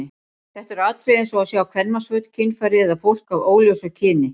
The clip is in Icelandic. Þetta eru atriði eins og að sjá kvenmannsföt, kynfæri eða fólk af óljósu kyni.